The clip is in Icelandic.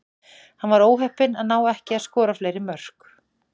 Hann var óheppinn að ná ekki að skora fleiri mörk.